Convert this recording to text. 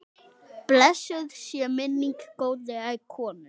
Blessuð sé minning góðrar konu.